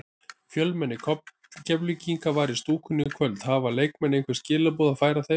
Fjölmenni Keflvíkinga var í stúkunni í kvöld, hafa leikmenn einhver skilaboð að færa þeim?